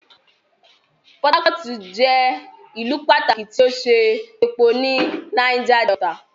Port Harcourt jẹ ìlú pàtàkì ti o ṣe epo ní Niger Delta.